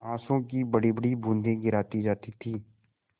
आँसू की बड़ीबड़ी बूँदें गिराती जाती थी